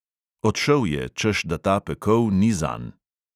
Odšel je, češ da ta pekel ni zanj.